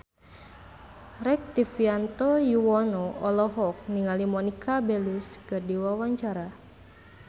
Rektivianto Yoewono olohok ningali Monica Belluci keur diwawancara